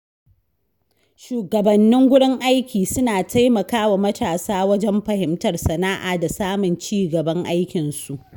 Shugabannin gurin aiki suna taimakawa matasa wajen fahimtar sana’a da samun ci gaban aikinsu.